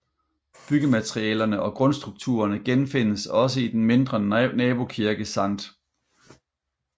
Byggematerialerne og grundstrukturerne genfindes også i den mindre nabokirke Skt